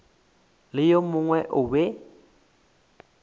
le yo mongwe o be